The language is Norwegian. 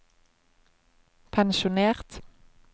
pensjonert